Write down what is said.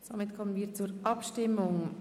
Wir kommen zur Abstimmung.